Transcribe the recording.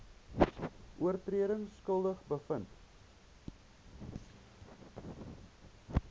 oortredings skuldig bevind